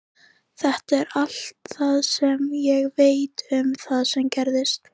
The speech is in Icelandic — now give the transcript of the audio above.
Þetta er allt sem ég veit um það sem gerðist.